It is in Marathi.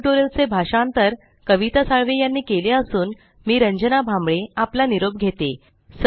या ट्यूटोरियल चे भाषांतर कविता साळवे यानी केले असून मी रंजना भांबळे आपला निरोप घेते